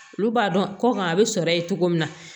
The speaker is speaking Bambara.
Olu b'a dɔn kɔkan a bɛ sɔrɔ yen cogo min na